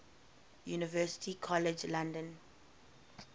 university college london